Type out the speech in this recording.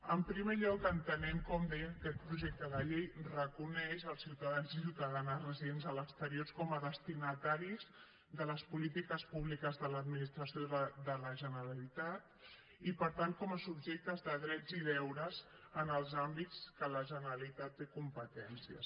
en primer lloc entenem com deia que aquest projecte de llei reconeix els ciutadans i ciutadanes residents a l’exterior com a destinataris de les polítiques públiques de l’administració de la generalitat i per tant com a subjectes de drets i deures en els àmbits en què la generalitat té competències